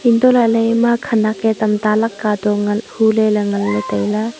antohlaley em khanak e tamta lakka toh ngan hu le ley ngan ley tai ley.